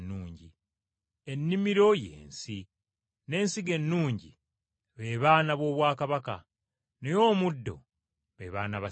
Ennimiro y’ensi, n’ensigo ennungi be baana b’obwakabaka, naye omuddo be baana ba Setaani.